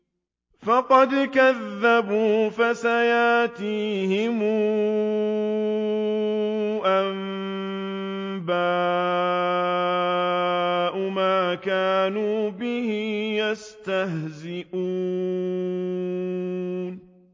فَقَدْ كَذَّبُوا فَسَيَأْتِيهِمْ أَنبَاءُ مَا كَانُوا بِهِ يَسْتَهْزِئُونَ